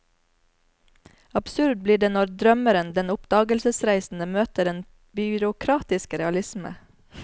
Absurd blir det når drømmeren, den oppdagelsesreisende, møter den byråkratiske realisme.